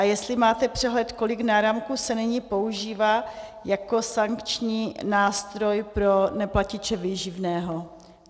A jestli máte přehled, kolik náramků se nyní používá jako sankční nástroj pro neplatiče výživného.